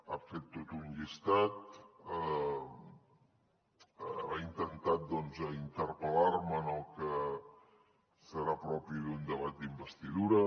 ha fet tot un llistat ha intentat interpel·lar me en el que serà propi d’un debat d’investidura